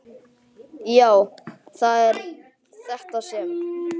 Já, það er þetta sem.